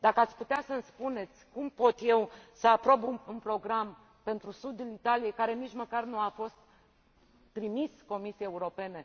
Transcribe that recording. Dacă ați putea să îmi spuneți cum pot eu să aprob un program pentru sudul Italiei, care nici măcar nu a fost trimis Comisiei Europene?